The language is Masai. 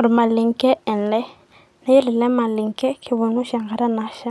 Olmalenke ele. Na yiolo elemalenke, kipang'u oshi enkata nasha.